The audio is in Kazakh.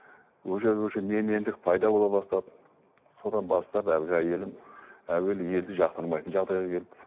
уже уже менмендік пайда бола бастады содан бастап әлгі әйелім әуелі елді жақтырмайтын жағдайға келді